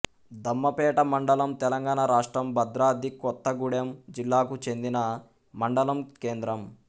దమ్మపేట మండలం తెలంగాణ రాష్ట్రం భద్రాద్రి కొత్తగూడెం జిల్లాకు చెందిన మండలం కేంద్రం